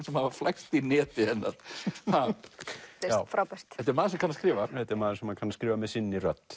sem hafa flækst í neti hennar frábært þetta er maður sem kann að skrifa þetta er maður sem kann að skrifa með sinni rödd